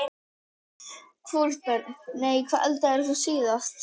Hvorugt Börn: Nei Hvað eldaðir þú síðast?